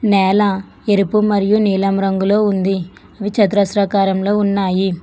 నేల ఎరుపు మరియు నీలం రంగులో ఉంది అవి చతురస్రాకారంలో ఉన్నాయి.